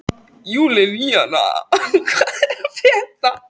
Júlína, hvað er að frétta?